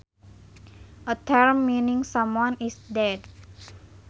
A term meaning someone is dead